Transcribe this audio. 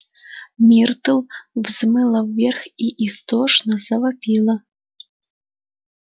миртл взмыла вверх и истошно завопила